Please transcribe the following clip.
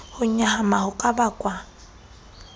ho nyahama ho ka bakwang